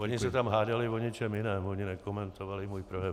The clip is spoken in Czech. Oni se tam hádali o něčem jiném, oni nekomentovali můj projev.